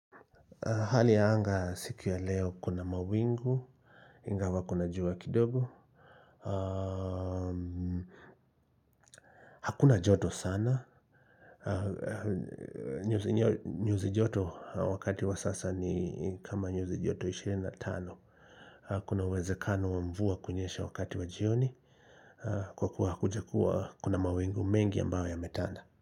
Hali ya anga siku ya leo kuna mawingu, ingawa kuna jua kidogo. Hakuna joto sana. Nyuzi joto wakati wa sasa ni kama nyuzi joto 25. Kuna uwezekano wa mvua kunyesha wakati wa jioni. Kwa kua hakujakua kuna mawingu mengi ambayo yametanda.